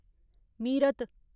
Meerut